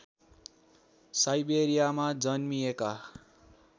साइबेरियामा जन्मिएका